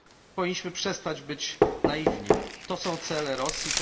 Powinniśmy przestać być naiwni, to są cele Rosji.